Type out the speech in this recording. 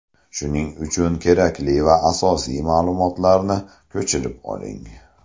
Shuning uchun kerakli va asosiy ma’lumotlarni ko‘chirib oling.